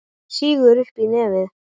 Hún sýgur upp í nefið.